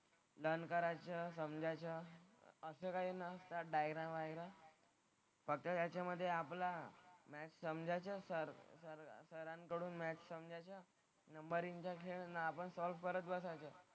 Learn करायचं, समजायचं, त्यात डायग्राम, वायग्राम फक्त त्याच्यामधे आपला नाही समजायचं सर सर सरांकडून मॅथ्स समजायचं. नंबरिंगचा खेळ ना आपण सॉल्व्ह करत बसायचं.